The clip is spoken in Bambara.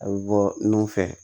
A bɛ bɔ nun fɛ